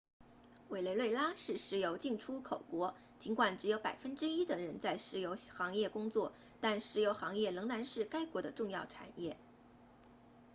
委内瑞拉是石油净出口国尽管只有百分之一的人在石油行业工作但石油行业仍然是该国的重要产业